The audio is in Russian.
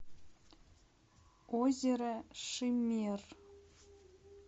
озеро шиммер